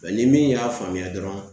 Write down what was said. ni min y'a faamuya dɔrɔn